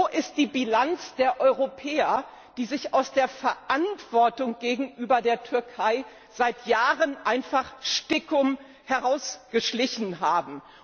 Was ist die Bilanz der Europäer, die sich aus der Verantwortung gegenüber der Türkei seit Jahren einfach stiekum herausgeschlichen haben?